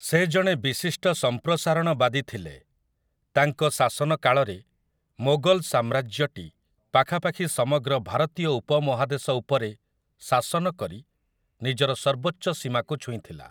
ସେ ଜଣେ ବିଶିଷ୍ଟ ସମ୍ପ୍ରସାରଣବାଦୀ ଥିଲେ । ତାଙ୍କ ଶାସନ କାଳରେ, ମୋଗଲ ସାମ୍ରାଜ୍ୟଟି, ପାଖାପାଖି ସମଗ୍ର ଭାରତୀୟ ଉପମହାଦେଶ ଉପରେ ଶାସନ କରି, ନିଜର ସର୍ବୋଚ୍ଚ ସୀମାକୁ ଛୁଇଁଥିଲା ।